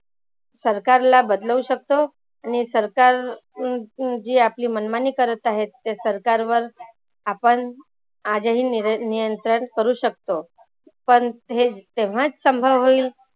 सरकारला बदलवू शकतो. आणि सरकार अं जी आपली मनमानी करत आहेत त्या सरकार वर आपण आजही नियंत्रण करू शकतो. पण हे तेव्हाचं संभव होईल